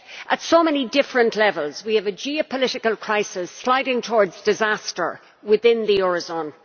Yet at so many different levels we have a geopolitical crisis sliding towards disaster within the eurozone.